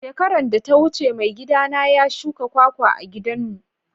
Shekaran da ta wuce maigida na ya shuka kwakwa a'gidan mu.